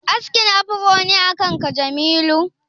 Askin afro ne akan ka Jamilu?